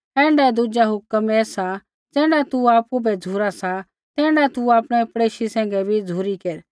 ऐण्ढाऐ दुजा हुक्म ऐ सा ज़ैण्ढा तू आपु बै झ़ुरा सा तैण्ढा तू आपणै पड़ेशी सैंघै भी झ़ुरी केर